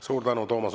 Suur tänu!